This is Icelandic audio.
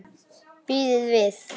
Bíðið við!